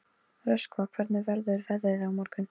Röskva, hvernig verður veðrið á morgun?